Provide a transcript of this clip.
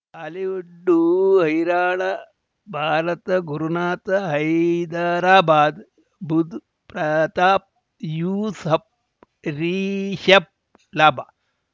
Bollywood ಹೈರಾಣ ಭಾರತ ಗುರುನಾಥ ಹೈದರಾಬಾದ್ ಬುಧ್ ಪ್ರತಾಪ್ ಯೂಸುಫ್ ರಿಷಬ್ ಲಾಭ